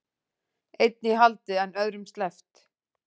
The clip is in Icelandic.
Einn í haldi en öðrum sleppt